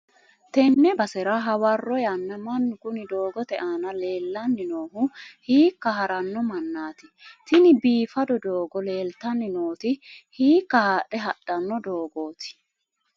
tenne basera hawarro yanna mannu kuni doogote aana leellanni noohu hiikka haranno mannati? tini biifado doogo leeltanni nooti hiikka haadhe hadhanno doogooti?